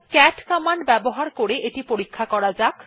cat command ব্যবহার করে এটি পরীক্ষা করা যাক